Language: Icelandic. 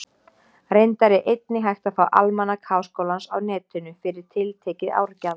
Reyndar er einnig hægt að fá Almanak Háskólans á Netinu, fyrir tiltekið árgjald.